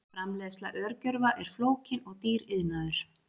Framleiðsla örgjörva er flókinn og dýr iðnaður.